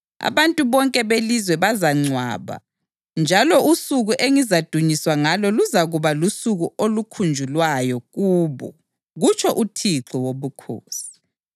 Abantu bonke belizwe bazabangcwaba, njalo usuku engizadunyiswa ngalo luzakuba lusuku olukhunjulwayo kubo, kutsho uThixo Wobukhosi.